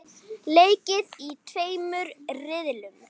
Leikið í tveimur riðlum.